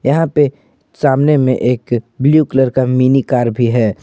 यहां पे सामने में एक ब्लू कलर का मिनी कार भी है।